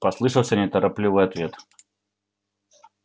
послышался неторопливый ответ